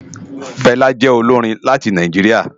Fela jè ólórin láti Náijiriá